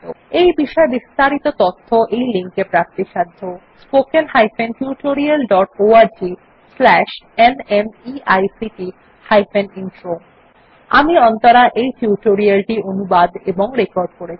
এই বিষয় বিস্তারিত তথ্য এই লিঙ্ক এ প্রাপ্তিসাধ্য spoken hyphen tutorial dot org slash NMEICT hyphen intro আমি অন্তরা এই টিউটোরিয়াল টি অনুবাদ এবং রেকর্ড করেছি